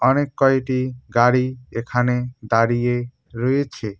অনেক কয়টি গাড়ি এখানে দাঁড়িয়ে রয়েছে।